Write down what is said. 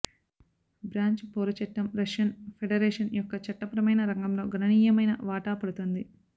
branch పౌర చట్టం Russian Federation యొక్క చట్టపరమైన రంగంలో గణనీయమైన వాటా పడుతుంది